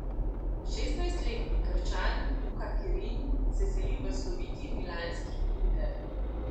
Šestnajstletni Krčan Luka Kerin se seli v sloviti milanski Inter.